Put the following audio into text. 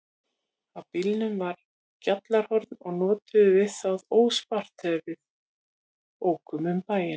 Á bílnum var gjallarhorn og notuðum við það óspart þegar við ókum um bæinn.